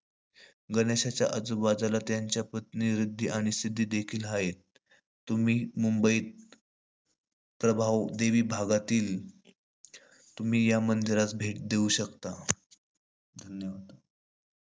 गणेशाच्या आजुबाजुला त्याच्या पत्नी रिध्दी आणि सिध्दी देखील हायेत. तुम्ही मुंबईत, प्रभावदेवी भागातील तुम्ही या मंदिरात भेट देऊ शकता. धन्यवाद!